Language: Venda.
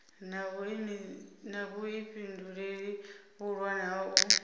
na vhuifhinduleli vhuhulwane ha u